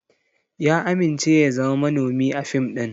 Ya amince ya zama manomi a fim ɗin.